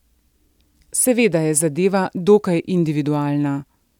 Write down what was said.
Seveda je zadeva dokaj individualna.